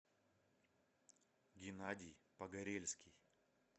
геннадий погорельский